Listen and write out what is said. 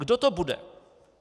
Kdo to bude?